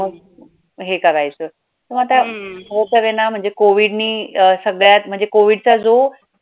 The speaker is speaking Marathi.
हे करायचं मग आता COVID नी सगळ्यात म्हणजे COVID जो